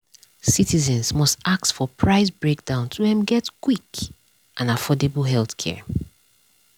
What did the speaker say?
citizens must ask for price breakdown to um get quick and affordable healthcare. um